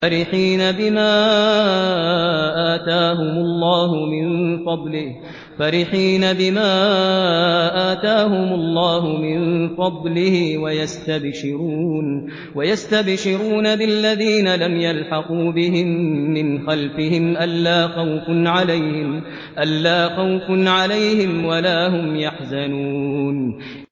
فَرِحِينَ بِمَا آتَاهُمُ اللَّهُ مِن فَضْلِهِ وَيَسْتَبْشِرُونَ بِالَّذِينَ لَمْ يَلْحَقُوا بِهِم مِّنْ خَلْفِهِمْ أَلَّا خَوْفٌ عَلَيْهِمْ وَلَا هُمْ يَحْزَنُونَ